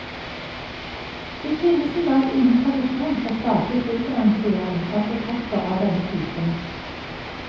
Det finnes i dag ingen tradisjon for statlig fullfinansiering av portretter av denne typen.